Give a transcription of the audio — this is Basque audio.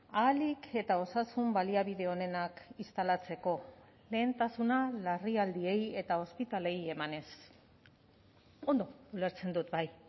ahalik eta osasun baliabide onenak instalatzeko lehentasuna larrialdiei eta ospitaleei emanez ondo ulertzen dut bai